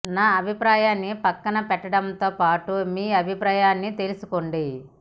నా అభిప్రాయాన్ని పక్కన పెట్టడంతో పాటు మీ అభిప్రాయాన్ని తెలుసుకోండి